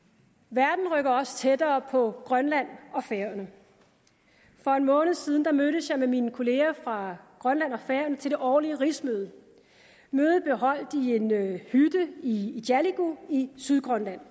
verden rykker også tættere på grønland og færøerne for en måned siden mødtes jeg med mine kollegaer fra grønland og færøerne til det årlige rigsmøde mødet blev holdt i en hytte i igaliku i sydgrønland